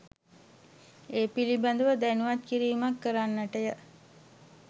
ඒ පිළිබඳ ව දැනුම්වත් කිරීමක් කරන්නට ය.